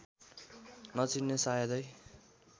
नचिन्ने शायदै